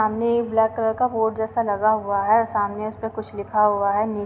सामने एक black colour का बोर्ड जैसा लगा हुआ है सामने उसमें कुछ लिखा हुआ है। नी --